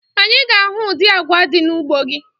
Anyị ga-ahụ ụdị agwa dị n'ugbo gị